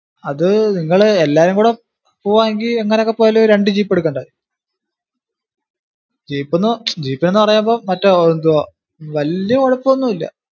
അത് നിങ്ങള് എല്ലാരും കൂടെ പോവാണെങ്കിൽ എങ്ങിനൊക്കെ പോയാലും ഒരു രണ്ടു jeep എടുക്കേണ്ടയോ? jeep എന്ന് ~ jeep എന്ന് പറയുമ്പോ മറ്റേ എന്തുവാ വലിയ കുഴപ്പം ഒന്നും ഇല്ല.